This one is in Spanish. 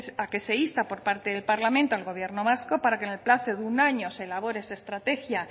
a que se insta por parte del parlamento al gobierno vasco para que en el plazo de un año se elabore de su estrategia